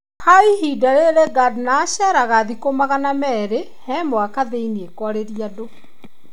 Kwa ihinda rĩrĩ Gardner aceraga thikũ magana merĩ he mwaka thĩ-inĩ kwarĩria andũ.